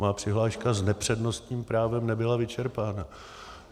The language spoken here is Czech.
Má přihláška s nepřednostním právem nebyla vyčerpána.